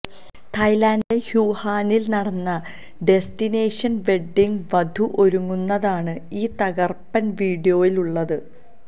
തായ്ലാന്റിലെ ഹ്യൂഹാനില് നടന്ന ഡെസ്റ്റിനേഷന് വെഡ്ഡിംഗില് വധു ഒരുങ്ങുന്നതാണ് ഈ തകര്പ്പന് വീഡിയോയില് ഉള്ളത്